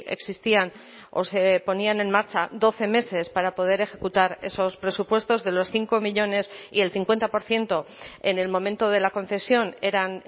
existían o se ponían en marcha doce meses para poder ejecutar esos presupuestos de los cinco millónes y el cincuenta por ciento en el momento de la concesión eran